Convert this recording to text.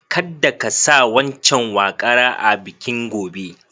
Kadda ka sa waccan waƙara a bikin gobe.